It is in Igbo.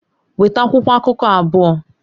Weta akwụkwọ akụkọ abụọ!